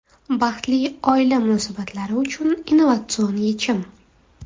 Baxtli oila munosabatlari uchun – innovatsion yechim!.